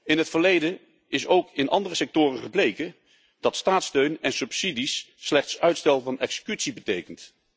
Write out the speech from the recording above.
In het verleden is ook in andere sectoren gebleken dat staatssteun en subsidies slechts uitstel van executie betekenen.